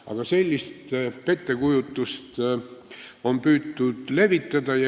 Aga sellist pettekujutlust on püütud levitada.